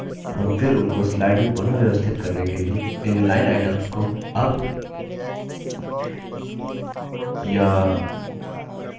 हम फिर उनको slide में पुनः व्यवस्थित करने के लिए इन line items को अप या down कर सकते हैं